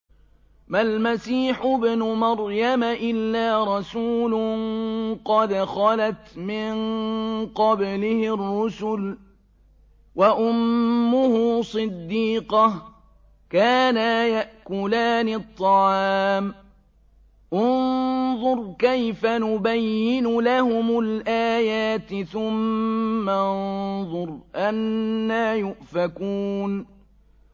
مَّا الْمَسِيحُ ابْنُ مَرْيَمَ إِلَّا رَسُولٌ قَدْ خَلَتْ مِن قَبْلِهِ الرُّسُلُ وَأُمُّهُ صِدِّيقَةٌ ۖ كَانَا يَأْكُلَانِ الطَّعَامَ ۗ انظُرْ كَيْفَ نُبَيِّنُ لَهُمُ الْآيَاتِ ثُمَّ انظُرْ أَنَّىٰ يُؤْفَكُونَ